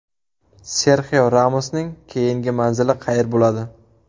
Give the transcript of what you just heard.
Serxio Ramosning keyingi manzili qayer bo‘ladi?